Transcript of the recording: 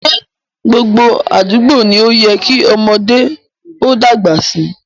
Ṣé gbogbo àdúgbò ni ó yẹ kí ọmọdé ó dàgbà sí?